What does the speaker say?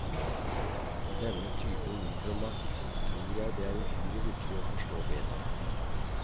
Denne typen mikromakt tror jeg det er uhyre viktig å forstå bedre.